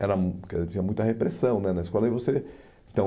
era, hum, quer dizer, tinha muita repressão né na escola, e você, entao